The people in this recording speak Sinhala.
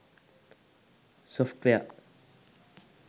software